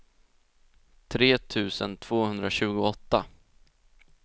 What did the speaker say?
tre tusen tvåhundratjugoåtta